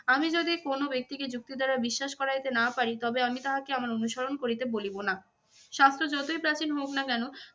আমি যদি কোনো ব্যক্তিকে যুক্তি দ্বারা বিশ্বাস করাইতে না পারি তবে আমি তাহাকে আমার অনুসরণ করিতে বলিব না। শাস্ত্র যতই প্রাচীন হোক না কেন